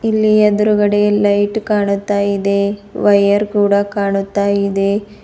ಇಲ್ಲಿ ಎದ್ರುಗಡೆ ಲೈಟ್ ಕಾಣುತ್ತಾ ಇದೆ ವೈರ್ ಕೂಡ ಕಾಣುತ್ತಾ ಇದೆ.